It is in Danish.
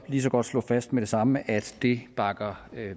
lige så godt slå fast med det samme at det bakker